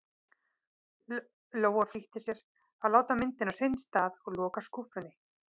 Lóa-Lóa flýtti sér að láta myndina á sinn stað og loka skúffunni.